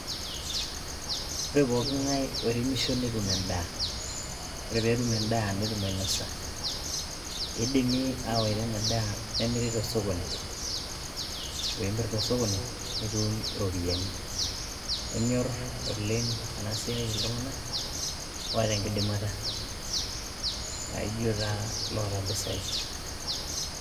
ore pooki ngae oiremisho netum endaa .ore petum endaa netum ainosa .nidimi awaita ina daa nemiri tosokoni. ore pimir tosokoni nitum iropiyiani. enyor oleng ena siaai iltunganak oota enkidimata aijo taa iloota impisai.